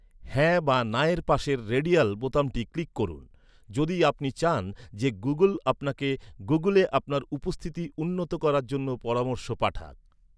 "হ্যাঁ" বা "না"এর পাশের রেডিয়াল বোতামটি ক্লিক করুন। যদি আপনি চান যে, গুগল আপনাকে গুগুলে আপনার উপস্থিতি উন্নত করার জন্য পরামর্শ পাঠাক।